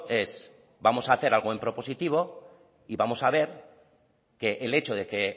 es vamos a hacer algo en propositivo y vamos a ver que el hecho de que